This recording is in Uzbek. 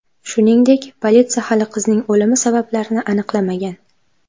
Shuningdek, politsiya hali qizning o‘limi sabablarini aniqlamagan.